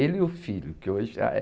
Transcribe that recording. Ele e o filho, que hoje já é